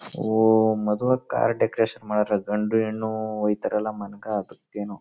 ohm ಮದುವಕ್ car decoration ಮಾಡಾರ್ ಗಂಡು ಹೆಣ್ಣು ಹೊಯೈತ್ತರ್ ಅಲ್ಲಾ ಮನಕ್ ಅದು ಏನೋ--